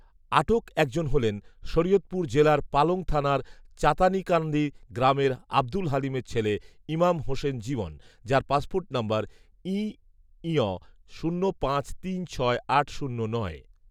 আটক একজন হলেন, শরিয়তপুর জেলার পালং থানার চাতানিকানদি গ্রামের আব্দুল হালিমের ছেলে ইমাম হোসেন জীবন, যাঁর পাসপোর্ট নম্বর ইঞ শূন্য পাঁচ তিন ছয় আট শূন্য নয়